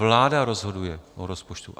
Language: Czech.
Vláda rozhoduje o rozpočtu.